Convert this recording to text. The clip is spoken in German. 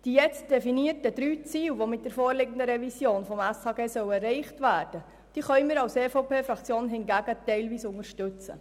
Die drei definierten Ziele, die jetzt mit der vorliegenden SHG-Revision erreicht werden sollen, kann die EVP-Fraktion hingegen teilweise unterstützen.